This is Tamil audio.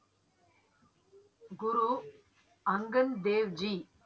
குரு அங்கத் தேவ்ஜி